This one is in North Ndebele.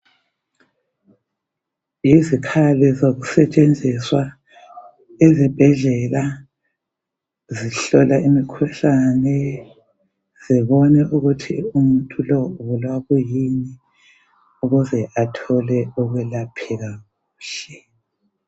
Izikhali zokusetshenziswa ezibhedlela, zihlola imikhuhlane, zibone ukuthi umuthu lo ubulawa kuyini ukuze athole ukwelapheka kuhle.